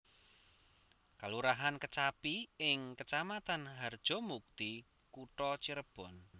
Kalurahan Kecapi ing Kecamatan Harjamukti Kutha Cirebon